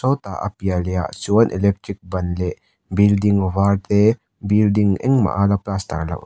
sawtah a piah lehah chuan electric ban leh building var te building eng maha la plaster loh --